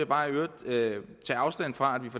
bare i øvrigt tage afstand fra